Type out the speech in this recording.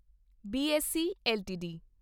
BSE LTD